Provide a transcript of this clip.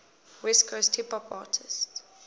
west coast hip hop artists